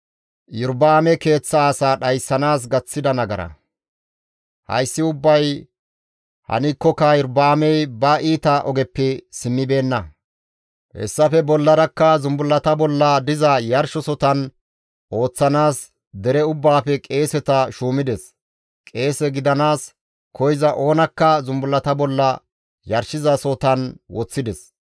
Hayssi ubbay hankkoka Iyorba7aamey ba iita ogeppe simmibeenna; hessafe bollarakka zumbullata bolla diza yarshosotan ooththanaas dere ubbaafe qeeseta shuumides; qeese gidanaas koyza oonakka zumbullata bolla yarshizasohotan woththides.